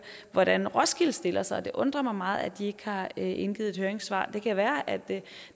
hvordan roskilde stiller sig det undrer mig meget at de ikke har indgivet et høringssvar det kan være at